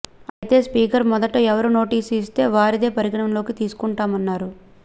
అయితే స్పీకర్ మొదట ఎవరు నోటీసు ఇస్తే వారిదే పరిగణనలోకి తీసుకుంటామన్నారు